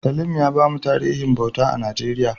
Salim ya bamu tarihin bauta a Najeriya.